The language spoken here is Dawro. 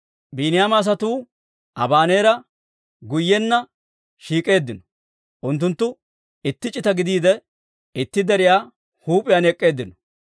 Biiniyaama asatuu Abaneera guyyenna shiik'eeddino; unttunttu itti c'ita gidiide, itti deriyaa huup'iyaan ek'k'eeddinno.